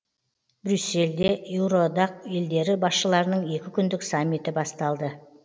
брюссельде еуроодақ елдері басшыларының екі күндік саммиті басталды